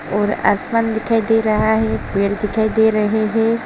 और आसमान दिखाई दे रहा है। पेड़ दिखाई दे रहे है।